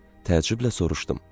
Təəccüblə soruşdum: